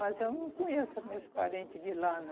Mas eu não conheço meus parentes de lá,